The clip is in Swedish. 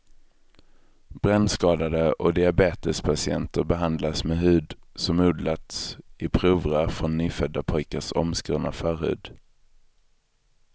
Brännskadade och diabetespatienter behandlas med hud som odlats i provrör från nyfödda pojkars omskurna förhud.